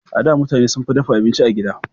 A da, mutane sunfi dafa abinci a gida.